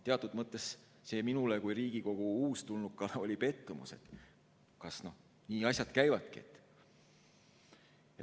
Teatud mõttes oli see minule kui Riigikogu uustulnukale pettumus, et kas nii asjad käivadki.